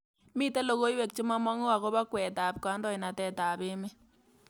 Miten logoywek chegamangu agoba kweetab kandoindetab emet